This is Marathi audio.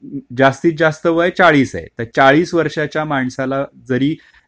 जास्तीत जास्त वय चाळीस चाळीस वर्षाच्या माणसाला जरी,